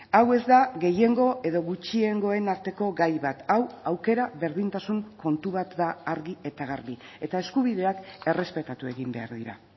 hau ez da gehiengo edo gutxiengoen arteko gai bat hau aukera berdintasun kontu bat da argi eta garbi eta eskubideak errespetatu egin behar dira